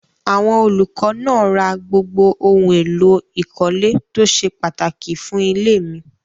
Àwọn olùkọ́ náà ra gbogbo ohun-èlò ìkọ́lé tó ṣe pàtàkì fún ilé mi.